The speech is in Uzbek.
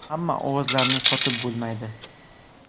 Hamma ovozlarni sotib bo‘lmaydi.